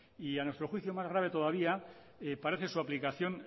y a nuestro juicio más grave todavía parece su aplicación